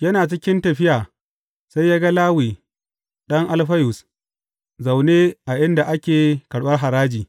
Yana cikin tafiya, sai ya ga Lawi, ɗan Alfayus zaune a inda ake karɓar haraji.